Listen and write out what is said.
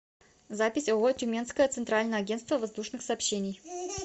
запись ооо тюменское центральное агентство воздушных сообщений